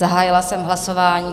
Zahájila jsem hlasování.